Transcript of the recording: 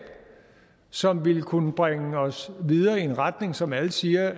som ville kunne bringe os videre i den retning som alle siger